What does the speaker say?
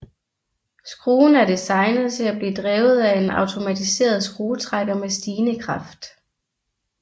Skruen er designet til at blive drevet af en automatiseret skruetrækker med stigende kraft